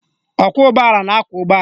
Ọkwọụgbọala na-akwọ ụgbọala